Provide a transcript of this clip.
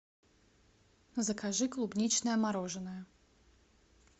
закажи клубничное мороженое